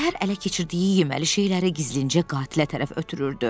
Bir təhər ələ keçirdiyi yeməli şeyləri gizlincə qatilə tərəf ötürürdü.